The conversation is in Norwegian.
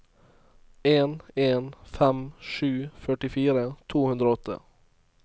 en en fem sju førtifire to hundre og åtte